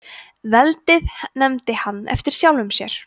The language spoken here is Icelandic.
veldið nefndi hann eftir sjálfum sér